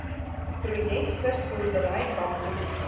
projek visboerdery bamboed